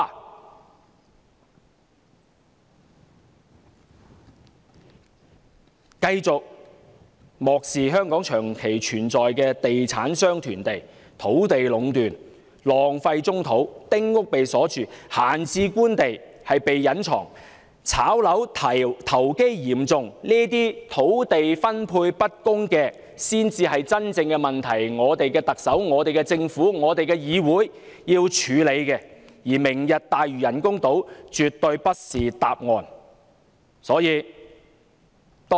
他們繼續漠視香港長期存在的問題，就是地產商囤地、土地壟斷、浪費棕地、丁屋被鎖住、閒置官地被隱藏、"炒樓"投機嚴重，以致土地分配不均，這才是真正的問題所在，才是我們的特首、我們的政府，我們的議會要處理的問題，而"明日大嶼"人工島絕對不是答案。